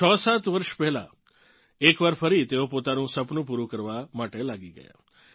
67 વર્ષ પહેલાં એક વાર ફરી તેઓ પોતાનું સપનું પૂરું કરવાં માટે લાગી ગયાં